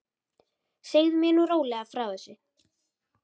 Segðu mér nú rólega frá þessu.